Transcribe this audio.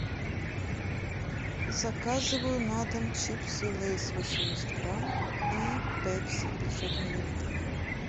заказываю на дом чипсы лейс восемьдесят грамм и пепси пятьсот миллилитров